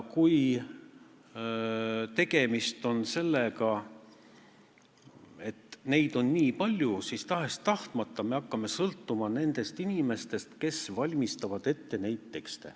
Kui eelnõusid on nii palju, siis me hakkame tahes-tahtmata sõltuma nendest inimestest, kes neid tekste ette valmistavad.